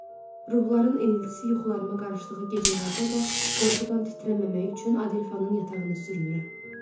Ruhların iniltisi yuxularıma qarışdığı gecələrdə də qorxudan titrəməmək üçün Adelfanın yatağını sürünürəm.